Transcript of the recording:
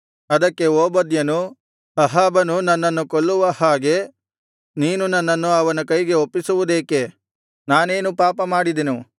ಅದಕ್ಕೆ ಓಬದ್ಯನು ಅಹಾಬನು ನನ್ನನ್ನು ಕೊಲ್ಲುವ ಹಾಗೆ ನೀನು ನನ್ನನ್ನು ಅವನ ಕೈಗೆ ಒಪ್ಪಿಸುವುದೇಕೆ ನಾನೇನು ಪಾಪಮಾಡಿದೆನು